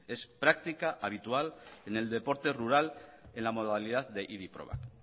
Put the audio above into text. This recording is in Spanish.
es práctica habitual en el deporte rural en la modalidad de idi probak